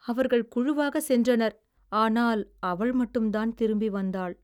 அவர்கள் குழுவாக சென்றனர் ஆனால் அவள் மட்டும்தான் திரும்பி வந்தாள்.